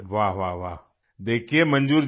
वाह वाह देखिये मंजूर जी